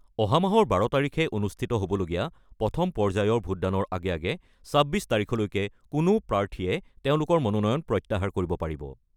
অহা মাহৰ ১২ তাৰিখে অনুষ্ঠিত হ'বলগীয়া প্ৰথম পৰ্যায়ৰ ভোটদানৰ আগে আগে ২৬ তাৰিখলৈকে কোনো প্ৰাৰ্থীয়ে তেওঁলোকৰ মনোনয়ন প্ৰত্যাহাৰ কৰিব পাৰিব।